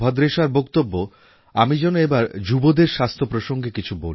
র বক্তব্য আমি যেন এবার যুবাদের স্বাস্থ্য প্রসঙ্গে কিছু বলি